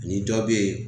Ni dɔ be yen